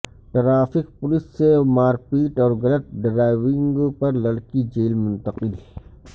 traffic police سے مارپیٹ اور غلط ڈرائیونگ پر لڑکی جیل منتقل